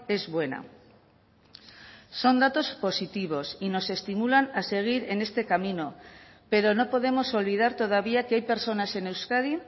es buena son datos positivos y nos estimulan a seguir en este camino pero no podemos olvidar todavía que hay personas en euskadi